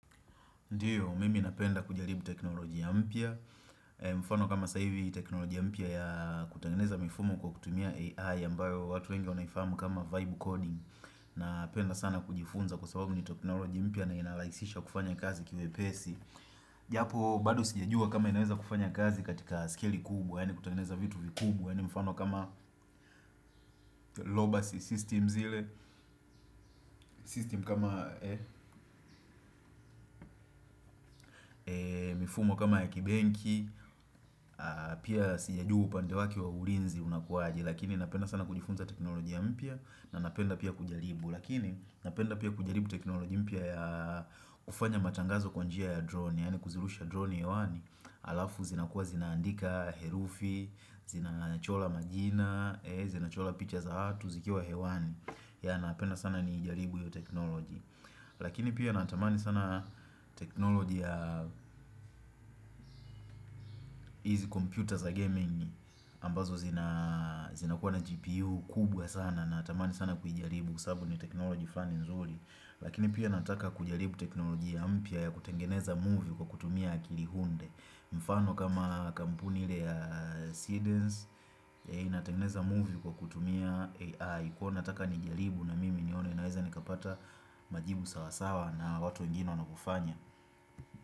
Ndiyo, mimi napenda kujaribu teknolojia ya mpya mfano kama saa hivi teknolojia mpya ya kutengeneza mifumo kwa kutumia AI ambayo watu wengi wanaifahamu kama vibe Coding Napenda sana kujifunza kwa sababu ni teknolojia mpya na inarahisisha kufanya kazi kiwepesi Japo, bado sijajua kama inaweza kufanya kazi katika skeli kubwa Yaani kutengeneza vitu vikubwa, yaani mfano kama lobacy systems ile System kama mifumo kama ya kibenki Pia sijajua upande wake wa ulinzi unakuaje Lakini napenda sana kujifunza teknolojia mpya na napenda pia kujaribu Lakini napenda pia kujaribu teknolojia mpya kufanya matangazo kwa njia ya drone Yaani kuzirusha drone hewani Alafu zinakua zinaandika herufi Zinachora majina Zinachora picha za watu zikiwa hewani ya napenda sana nijaribu hiyo teknoloji Lakini pia natamani sana teknology ya hizi kompyuta za gaming ambazo zinakuwa na GPU kubwa sana natamani sana kuijaribu kwa sababu ni teknology fulani nzuri lakini pia nataka kujaribu teknolojia mpya ya kutengeneza movie kwa kutumia akili hunde mfano kama kampuni ile ya Seedens yenye inatengeneza movie kwa kutumia AI kuwa nataka nijaribu na mimi nione naweza nikapata majibu sawasawa na watu wengine wanapofanya.